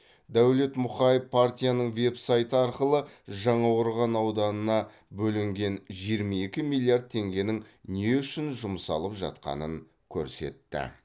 дәулет мұқаев партияның веб сайты арқылы жаңақорған ауданына бөлінген жиырма екі миллиард теңгенің не үшін жұмсалып жатқанын көрсетті